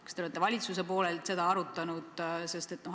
Kas te olete valitsuses seda arutanud?